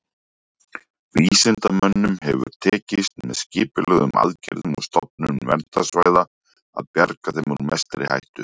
Vísindamönnum hefur tekist, með skipulögðum aðgerðum og stofnun verndarsvæða, að bjarga þeim úr mestri hættu.